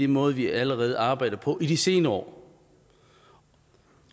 måde vi allerede har arbejdet på i de senere år